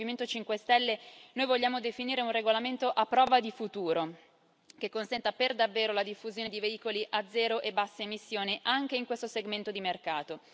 Come Movimento 5 Stelle noi vogliamo definire un regolamento a prova di futuro, che consenta per davvero la diffusione di veicoli a zero e basse emissioni anche in questo segmento di mercato.